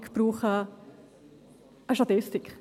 Ich brauche eine Statistik.